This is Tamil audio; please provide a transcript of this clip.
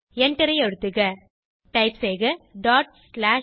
எண்டரை அழுத்துக டைப் செய்க stat